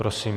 Prosím.